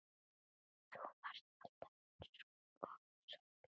Þú varst alltaf einsog sól.